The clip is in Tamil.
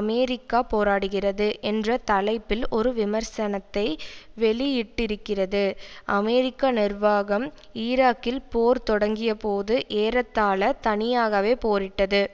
அமெரிக்கா போராடுகிறது என்ற தலைப்பில் ஒரு விமர்சனத்தை வெளியிட்டிருக்கிறது அமெரிக்க நிர்வாகம் ஈராக்கில் போர் தொடங்கியபோது ஏறத்தாழ தனியாகவே போரிட்டது